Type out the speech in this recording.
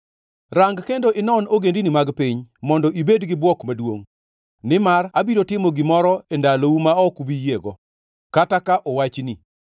“Rang kendo inon ogendini mag piny mondo ibed gi bwok maduongʼ. Nimar abiro timo gimoro e ndalou ma ok ubi yiego, kata ka owachni.